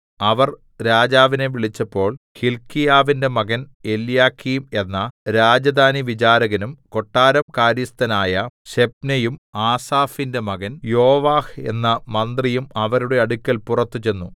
അവർ രാജാവിനെ വിളിച്ചപ്പോൾ ഹില്ക്കീയാവിന്റെ മകൻ എല്യാക്കീം എന്ന രാജധാനിവിചാരകനും കൊട്ടാരം കാര്യസ്ഥനായ ശെബ്നയും ആസാഫിന്റെ മകൻ യോവാഹ് എന്ന മന്ത്രിയും അവരുടെ അടുക്കൽ പുറത്തു ചെന്നു